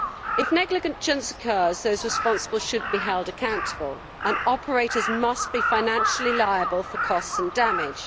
If negligence occurs, those responsible should be held accountable, and operators must be financially liable for costs and damage.